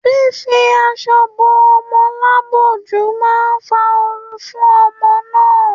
Fífi aṣọ bo ọmọ lápọ̀jù máa fa ooru fún ọmọ náà.